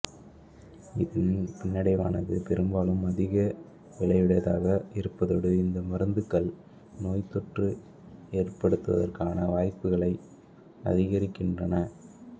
இதன் பின்னடைவானது பெரும்பாலும் அதிக விலையுடையதாக இருப்பதோடு இந்த மருந்துகள் நோய் தொற்று ஏற்படுவதற்கான வாய்ப்புகளை அதிகரிக்கின்றன